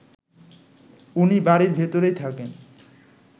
উনি বাড়ির ভেতরেই থাকেন